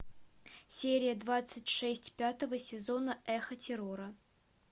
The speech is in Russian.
серия двадцать шесть пятого сезона эхо террора